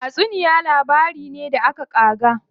Tatsuniya labari ne da aka ƙaga.